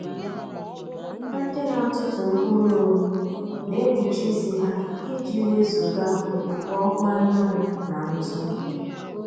Ndị na-atụtụ mkpụrụ owu na-ekpuchi isi ha i ji wezuga okpukpo ọkụ anyanwụ na ńtụ́.